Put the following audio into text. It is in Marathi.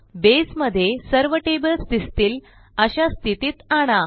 बसे मध्ये सर्व टेबल्स दिसतील अशा स्थितीत आणा